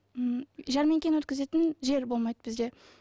м жәрмеңкені өткізетін жер болмайды бізде